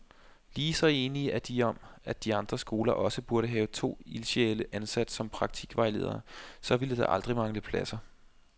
Lige så enige er de om, at alle andre skoler også burde have to ildsjæle ansat som praktikvejledere, så ville der aldrig mangle pladser.